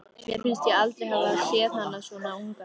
Mér finnst ég aldrei hafa séð hana svona unga.